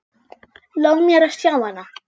Lof mér að sjá hana